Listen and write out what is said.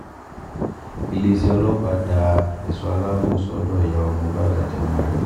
iléeṣẹ́ ọlọ́pàá da ẹ̀ṣọ́ aláàbọ̀ sọ́dọ̀ ìyàwó mohbad àti ọmọ rẹ̀